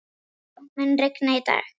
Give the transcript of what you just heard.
Míó, mun rigna í dag?